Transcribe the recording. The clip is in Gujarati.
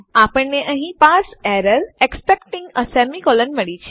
અમને અહીં એક parse error expecting a semicolon મળી છે